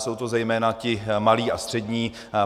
Jsou to zejména ti malí a střední.